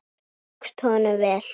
Það tókst honum vel.